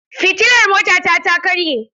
Fitilar motata ta karye.